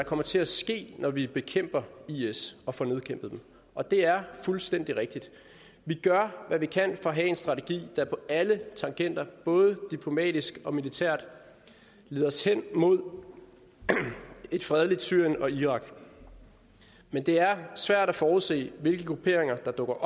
kommer til at ske når vi bekæmper is og får nedkæmpet dem og det er fuldstændig rigtigt vi gør hvad vi kan for at have en strategi der på alle tangenter både diplomatisk og militært leder os hen mod et fredeligt syrien og irak men det er svært at forudse hvilke grupperinger der dukker